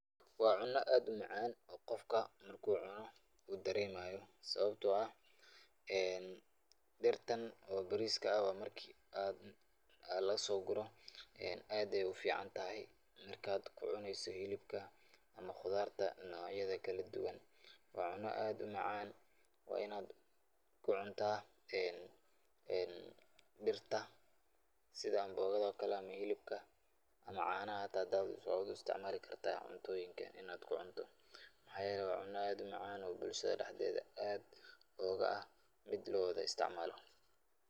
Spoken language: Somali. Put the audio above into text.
Waa cuno aad umacaan oo qofka markuu cuno uu dareemayo, sababta oo ah dirtan oo bariiska ah marki aad lasoo guro, aad ayeey ufican tahay marki ad kucuneysid hilibka ama qudaarta nocyada kala duban, waa cuno aad umacaan, waa inaad kucuntaa dirta sida amboogada ama hilibka ama caana xitaa waa u isticmaali kartaa cuntooyinka inaad kucunto, waxaa yeele waa cuno aad umacaan oo bulshada dexdeeda oga ah mid lawada isticmaalo.